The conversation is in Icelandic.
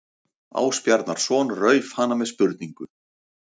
Ásbjarnarson rauf hana með spurningu